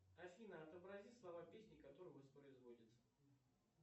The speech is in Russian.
афина отобрази слова песни которая воспроизводится